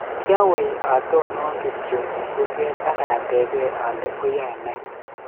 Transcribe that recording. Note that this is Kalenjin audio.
Kiawei atonon kityo eng kurket ak atebee ale oyae ne.